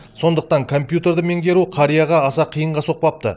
сондықтан компьютерді меңгеру қарияға аса қиынға соқпапты